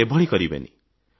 ତେଣୁ ଏଭଳି କରିବେନି